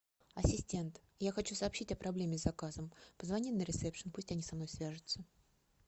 ассистент я хочу сообщить о проблеме с заказом позвони на ресепшн пусть они со мной свяжутся